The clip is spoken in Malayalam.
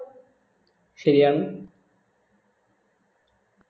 ശരിയാണ്